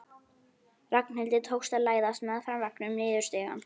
Ragnhildi tókst að læðast meðfram veggnum niður stigann.